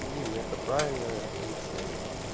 дима это правильное решение